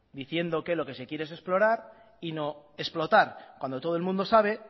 diciendo que lo que se quiere es explorar y no explotar cuando todo el mundo sabe